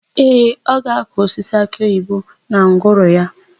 Ee, ọ ga-akụ osisi akịoyibo na ngwuru ya.